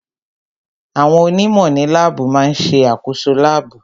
Àwọn onímọ̀ ní láàbù má ń ṣe àkoso láàbù